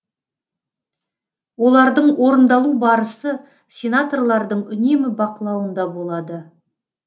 олардың орындалу барысы сенаторлардың үнемі бақылауында болады